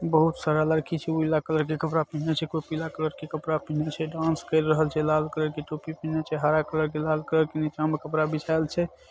बहुत सारा लड़की छे नीला कलर के कपड़ा पहने छे कोई पिला कलर के कपडा पहने छे डांस कर रहल छे लाल कलर की टोपी पहने छे हरा कलर के लाल कलर के नीचा मा कपड़ा बिछावल छे।